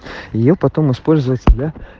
её потом использовать